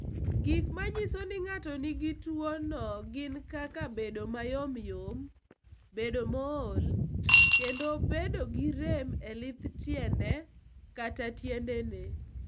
Gik ma nyiso ni ng'ato nigi tuwono gin kaka bedo ma yomyom, bedo mool, kendo bedo gi rem e lith tiende kata tiendene.